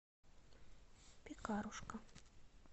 пекарушка